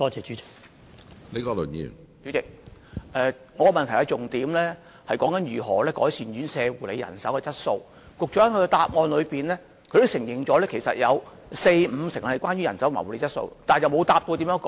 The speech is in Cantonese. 主席，我的主體質詢重點是如何改善院舍護理人手的質素，局長的主體答覆也承認有四五成投訴是有關人手和護理質素，卻沒有回答如何改善。